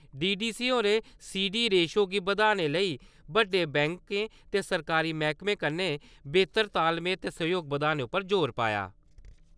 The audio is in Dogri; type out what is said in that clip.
डी. डी. सी होरें सी. डी रेशो गी बधाने लेई बड्डे बैंकें ते सरकारी मैह्‌कमें कन्नै बेह्‌तर तालमेल ते सहयोग बधाने उप्पर जोर पाया।